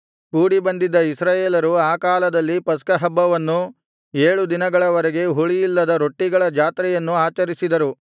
ಕೂಡಿಬಂದಿದ್ದ ಇಸ್ರಾಯೇಲರು ಆ ಕಾಲದಲ್ಲಿ ಪಸ್ಕಹಬ್ಬವನ್ನೂ ಏಳು ದಿನಗಳವರೆಗೆ ಹುಳಿಯಿಲ್ಲದ ರೊಟ್ಟಿಗಳ ಜಾತ್ರೆಯನ್ನೂ ಆಚರಿಸಿದರು